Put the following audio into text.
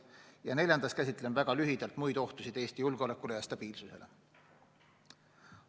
Ja neljandas käsitlen väga lühidalt muid ohtusid Eesti julgeolekule ja stabiilsusele.